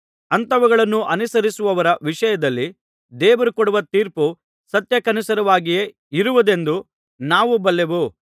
ಅಂಥವುಗಳನ್ನು ಅನುಸರಿಸುವವರ ವಿಷಯದಲ್ಲಿ ದೇವರು ಕೊಡುವ ತೀರ್ಪು ಸತ್ಯಕ್ಕನುಸಾರವಾಗಿಯೇ ಇರುವುದೆಂದು ನಾವು ಬಲ್ಲೆವು